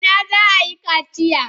A ina za a yi kaciya?